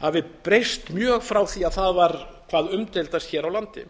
hafi breyst mjög frá því að það var hvað umdeildast hér á landi